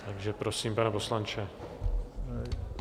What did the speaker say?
Takže prosím, pane poslanče.